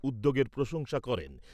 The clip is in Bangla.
উদ্যোগের প্রশংসা করেন।